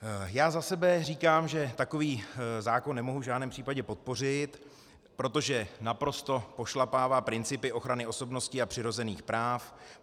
Já za sebe říkám, že takový zákon nemohu v žádném případě podpořit, protože naprosto pošlapává principy ochrany osobnosti a přirozených práv.